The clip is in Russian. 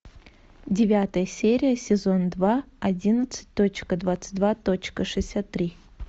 девятая серия сезон два одиннадцать точка двадцать два точка шестьдесят три